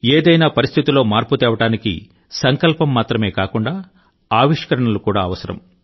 ఏదైనా పరిస్థితిలో మార్పు తేవడానికి సంకల్పం మాత్రమే కాకుండా ఆవిష్కరణలు కూడా అవసరం